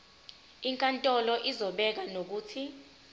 inkantolo izobeka nokuthi